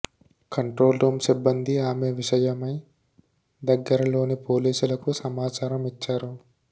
control room సిబ్బంది ఆమె విషయమై దగ్గరలోని పోలీసులకు సమాచారం ఇచ్చారు